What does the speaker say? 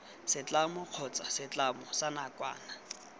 setlamo kgotsa setlamo sa nakwana